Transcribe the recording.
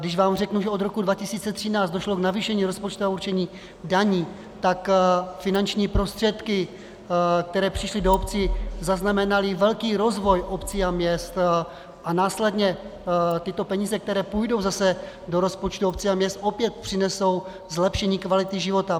Když vám řeknu, že od roku 2013 došlo k navýšení rozpočtového určení daní, tak finanční prostředky, které přišly do obcí, zaznamenaly velký rozvoj obcí a měst a následně tyto peníze, které půjdou zase do rozpočtu obcí a měst, opět přinesou zlepšení kvality života.